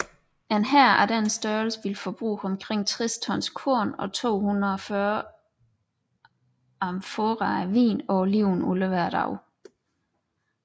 En hær af denne størrelse ville forbruge omkring 60 tons korn og 240 amforaer vin og olivenolie hver dag